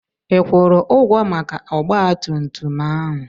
Ị kwụrụ ụgwọ maka ọgba tum tum ahụ?